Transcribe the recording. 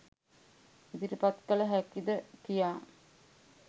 ඉදිරිපත් කළ හැකිද කියා.